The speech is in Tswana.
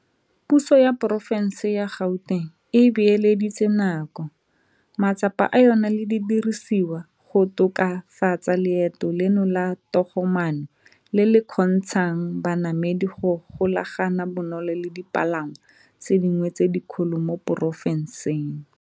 Puso ya Porofense ya Gauteng e beeleditse nako, matsapa a yona le didirisiwa go tokafatsa leeto leno la togomaano le le kgontsha ng banamedi go golagana bonolo le dipalangwa tse dingwe tse dikgolo mo porofenseng.